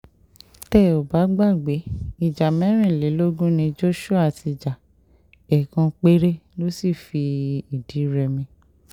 tẹ́ ò bá gbàgbé ìjà mẹ́rìnlélógún ni joshua ti ja ẹ̀ẹ̀kan péré ló sì fìdí-rẹmi